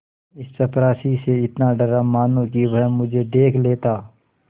इस चपरासी से इतना डरा मानो कि वह मुझे देख लेता